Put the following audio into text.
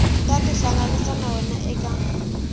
ta tihlanganisa na wena eka